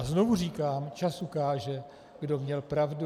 A znovu říkám, čas ukáže, kdo měl pravdu.